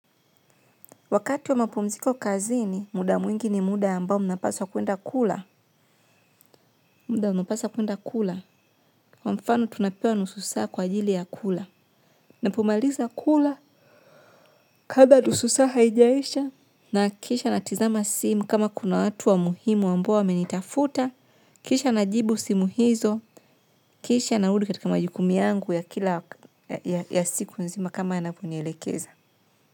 Wakati wa mapumziko kazini, muda mwingi ni muda ambao mnapaswa kuenda kula. Muda mnapaswa kuenda kula. Kwa mfano, tunapewa nusu saa kwa ajili ya kula. Napomaliza kula, kablaa nusu saa haijaisha. Nahakikisha natizama simu kama kuna watu wa muhimu amboa wamenitafuta. Kisha najibu simu hizo, kisha narudi katika majukumu yangu ya kila, ya siku nzima kama yanaponielekeza.